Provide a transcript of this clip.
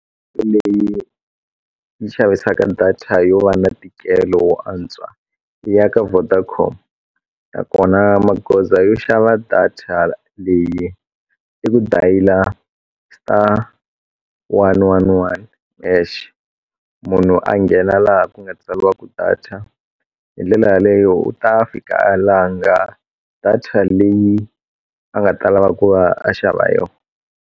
Leyi yi xavisaka data yo va na ntikelo wo antswa i ya ka Vodacom nakona magoza yo xava data leyi i ku dayile star one one one hash munhu a nghena laha ku nga tsaliwa ku data hi ndlela yaleyo u ta fika a langa data leyi a nga ta lava ku va a xava yo.